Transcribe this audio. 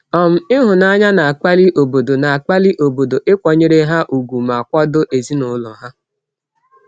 um Ịhụnanya na-akpali obodo na-akpali obodo ịkwanyere ha ùgwù ma kwado ezinụlọ ha.